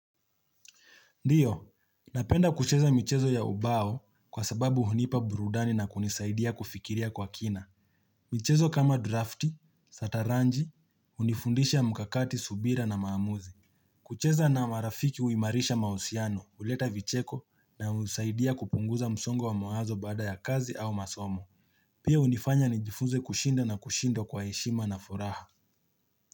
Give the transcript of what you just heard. Ndiyo, napenda kucheza michezo ya ubao kwa sababu hunipa burudani na kunisaidia kufikiria kwa kina. Michezo kama drafti, sataranji, hunifundisha mkakati, subira na maamuzi. Kucheza na marafiki huimarisha mausiano, huleta vicheko na husaidia kupunguza msongo wa mawazo baada ya kazi au masomo. Pia hunifanya nijifunze kushinda na kushinda kwa heshima na furaha.